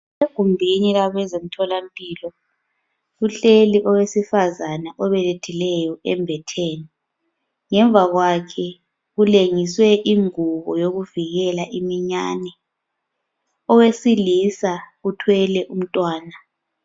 Egumbini labezemtholampilo kuhleli owesifazana obelethileyo embetheni. Ngemva kwakhe kulengiswe ingubo yokuvukela iminyane. Owesilisa uthwele umntwana.